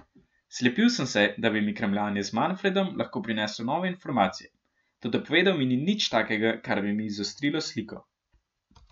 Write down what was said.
Slepil sem se, da bi mi kramljanje z Manfredom lahko prineslo nove informacije, toda povedal mi ni nič takega, kar bi mi izostrilo sliko.